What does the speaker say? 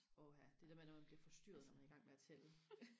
åha det der med når man bliver forstyrret når man er igang med og tælle